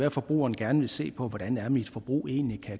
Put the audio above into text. at forbrugeren gerne ville se på hvordan er mit forbrug egentlig